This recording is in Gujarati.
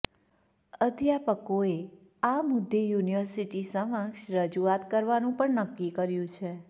અધ્યાપકોએ આ મુદ્દે યુનિવર્સિટી સમક્ષ રજૂઆત કરવાનું પણ નક્કી કર્યું છે